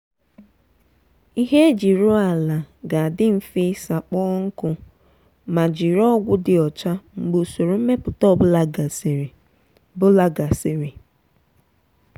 ihe eji rụọ ala ga-adị mfe ịsa kpọọ nkụ ma jiri ọgwụ dị ọcha mgbe usoro mmepụta ọ bụla gasịrị. bụla gasịrị.